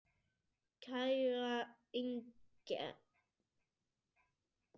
Kæra Inger.